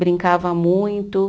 Brincava muito.